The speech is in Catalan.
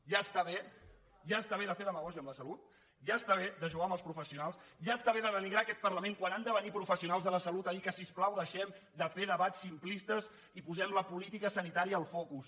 ja està bé ja està bé de fer demagògia amb la salut ja està bé de jugar amb els professionals ja està bé de denigrar aquest parlament quan han de venir professionals de la salut a dir que si us plau deixem de fer debats simplistes i posem la política sanitària al focus